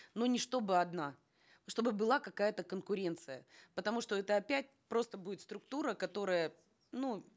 но не чтобы одна чтобы была какая то конкуренция потому что это опять просто будет структура которая ну